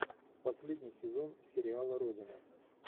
последний сезон сериала родина